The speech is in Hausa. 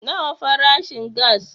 Nawa farashin gass